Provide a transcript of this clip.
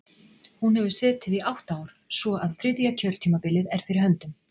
Hún hefur setið í átta ár, svo að þriðja kjörtímabilið er fyrir höndum.